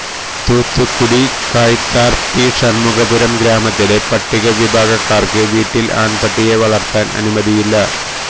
Thoothukudi Kayathar T Shanmugapuram ഗ്രാമത്തിലെ പട്ടികവിഭാഗക്കാര്ക്ക് വീട്ടില് ആണ്പട്ടിയെ വളര്ത്താന് അനുമതിയില്ല